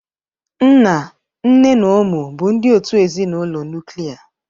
Nna, nne na ụmụ bụ ndị òtù ezinụlọ nuklia.